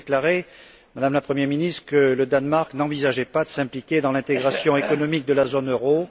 vous avez déclaré, Madame la Premier ministre, que le Danemark n'envisageait pas de s'impliquer dans l'intégration économique de la zone euro.